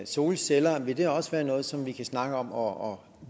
solceller også være noget som vi kan snakke om og